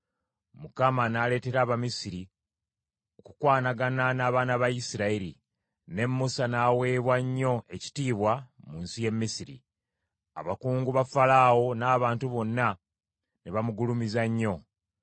Mukama n’aleetera Abamisiri okukwanagana n’abaana ba Isirayiri; ne Musa n’aweebwa nnyo ekitiibwa mu nsi y’e Misiri. Abakungu ba Falaawo n’abantu bonna ne bamugulumiza nnyo.